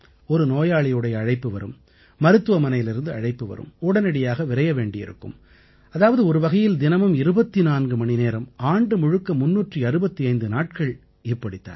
ஒரு நோயாளியுடைய அழைப்பு வரும் மருத்துவமனையிலிருந்து அழைப்பு வரும் உடனடியாக விரைய வேண்டியிருக்கும் அதாவது ஒருவகையில் தினமும் 24 மணி நேரம் ஆண்டு முழுக்க 365 நாட்கள் இப்படித் தான்